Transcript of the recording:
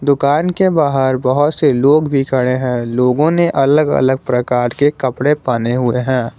दुकान के बाहर बहोत से लोग भी खड़े हैं लोगों ने अलग अलग प्रकार के कपड़े पहने हुए हैं।